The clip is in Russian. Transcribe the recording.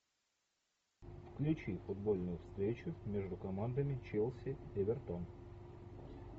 включи футбольную встречу между командами челси эвертон